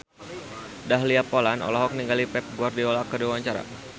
Dahlia Poland olohok ningali Pep Guardiola keur diwawancara